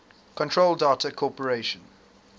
control data corporation